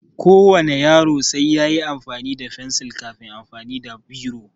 Ko wane yaro sai yayi amfani da fensil kafin amfani da biro